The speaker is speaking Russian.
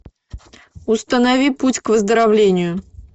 установи путь к выздоровлению